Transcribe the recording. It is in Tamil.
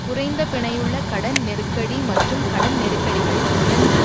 குறைந்த பிணையுள்ள கடன் நெருக்கடி மற்றும் கடன் நெருக்கடிகள் இரண்டு